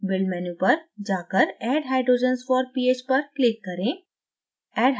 build menu पर जाकर add hydrogens for ph पर click करें